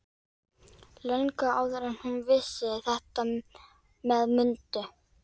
Löngu áður en hún vissi þetta með Mundu.